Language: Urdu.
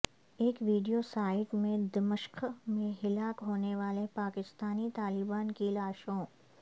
ایک ویڈیو سائیٹ میں دمشق میں ہلاک ہونے والے پاکستانی طالبان کی لاشوں